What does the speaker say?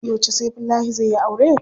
Yauce Saifullahi zai yi aure?